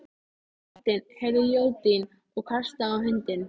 Marteinn heyrði jódyn og hastaði á hundinn.